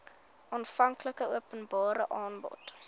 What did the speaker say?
aanvanklike openbare aanbod